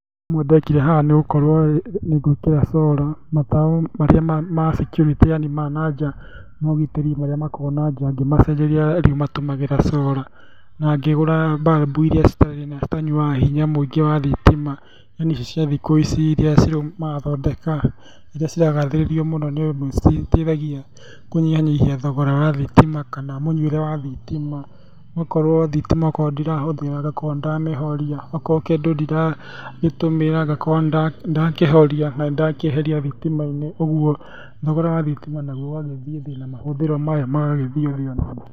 Ũndũ ũmwe ndekire haha nĩgũkorwo ngĩkĩra cora, matawa marĩa ma security yani maya ma nja ma ũgitĩri marĩa makoragwo na nja, ngĩmacenjeria rĩu matũmagĩra cora na ngĩgũra mbarumbu iria citanyuaga hinya mũingĩ wa thitima, yani icic cia thikũici iria cirauma marathondeka, iria ciragaithĩrĩrio mũno nĩŬndũ nĩcitaithagia kũnyihanyihia thogora wa thitima kana mũnyuĩre wa thitima, ũgakorwo thitima akorwo ndiramĩhũthĩra ngakorwo nĩndamĩhoria, akorwo kĩndũ ndiragĩtũmĩra ngakorwo nĩndakĩhoria, na nĩndakĩeheria thitima-inĩ, ũguo thogora wa thitima naguo ũgagĩthiĩ thĩ, na mahũthĩro mayo magagĩthiĩ thĩ onamo.